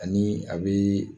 Ani a be